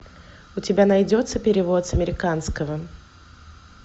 у тебя найдется перевод с американского